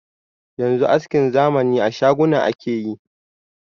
Yanzu askin zamani a shaguna ake yi.